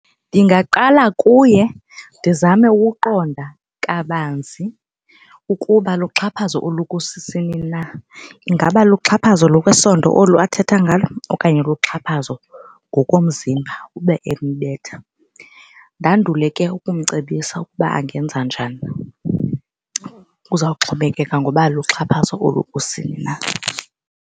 Ndingaqala kuye ndizame ukuqonda kabanzi ukuba luxhaphazo olukusini na. Ingaba luxhaphazo lokwesondo olu athetha ngalo okanye luxhaphazo ngokomzimba ube embetha. Ndandule ke ukumcebisa ukuba angenza njani, kuzawuxhomekeka ngoba luxhaphazo olukusini na.